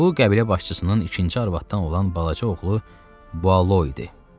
Bu qəbilə başçısının ikinci arvadımdan olan balaca oğlu Bualo idi.